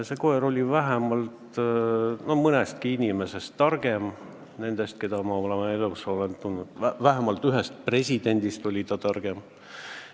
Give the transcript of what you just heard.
See koer oli targem mõnestki inimesest, keda ma oma elus olen tundnud, ja vähemalt ühest presidendist oli ta targem.